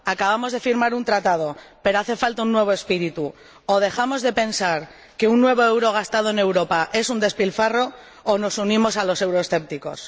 Acabamos de firmar un tratado, pero hace falta un nuevo espíritu o dejamos de pensar que cada nuevo euro gastado en Europa es un despilfarro o nos unimos a los euroescépticos.